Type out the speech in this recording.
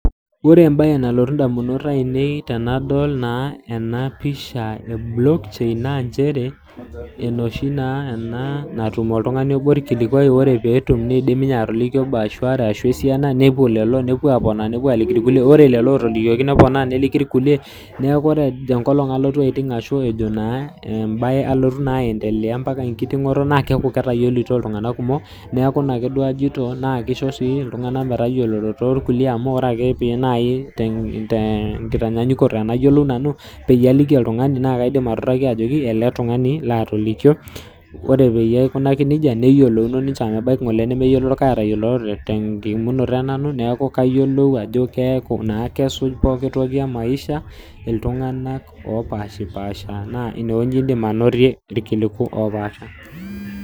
Ore embaye nalotu naa indamunot ainei tenadol naa ena pisha e block chain naa njere, enooshi naa ena naa ore pee etum oltung'ani obo olkilikwai , ore naa peetum neidim ninye atoliki obo arashu are arashu esiana, nepuo lelo newuo aliki ilkulikai, ore lelo ootolikioki, neponaa neliki ilkulie, neaku ore tenkolong' alotu aiting' arashu embaye naa alotu naa aendelea ombaka enkiting'oto naa keaku etayioloutuo iltung'anak kumok, neaku ina duo ajoito, keisho sii iltung'ana metayioloroto o ilkulie amu ore ake pee naaji te enkitanyaanyukoto payiolou naaji nanu, naake aidim atuutaki ajoki ele tung'ani laatolikio. Ore peyie aikunaki neija neyolouno ninche amu ebaiki ng'ole nemeyioloro, kake etayioloroto te enkiimunoto e nanu, neaku kayiolou ajo keaku naa kesuj pooki toki e maisha iltung'ana opaashiupaasha, naa ine wueji indim ainotie ilkiliku opaasha.